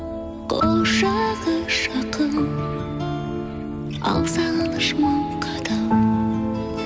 құшағы жақын ал сағыныш мың қадам